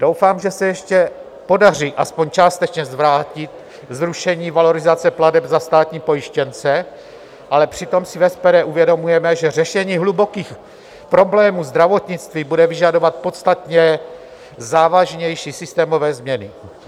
Doufám, že se ještě podaří aspoň částečně zvrátit zrušení valorizace plateb za státní pojištěnce, ale přitom si v SPD uvědomujeme, že řešení hlubokých problémů zdravotnictví bude vyžadovat podstatně závažnější systémové změny.